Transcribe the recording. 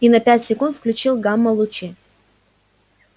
я на пять секунд включил гамма-лучи